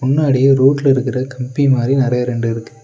முன்னாடி ரோட்ல இருக்குற கம்பி மாரி நெறையா ரெண்டு இருக்கு.